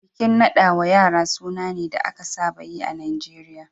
Bikin nada wa yara suna ne da aka saba yi a Najeriya